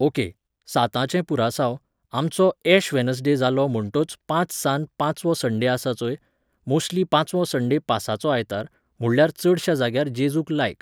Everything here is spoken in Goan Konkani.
ओके, साताचें पुरासांव, आमचो एश वेनसडे जालो म्होण्टोच पांच सान्न पांचवो संडे आसता चोय, मोस्ट्ली पांचवो संडे पासाचो आयतार, म्हुणल्यार चडशा जाग्यार जेजूक लायक